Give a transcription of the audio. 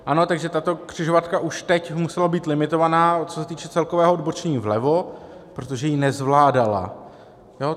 Ano, takže tato křižovatka už teď musela být limitovaná, co se týče celkového odbočení vlevo, protože ji nezvládala.